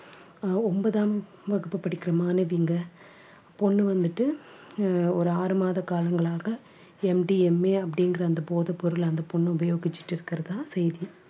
அஹ் ஒன்பதாம் வகுப்பு படிக்கற மாணவிங்க பொண்ணு வந்துட்டு அஹ் ஒரு ஆறு மாத காலங்களாக MDMA அப்படிங்கற அந்த போதைப் பொருள் அந்தப் பொண்ணு உபயோகிச்சுட்டு இருக்கறதா செய்தி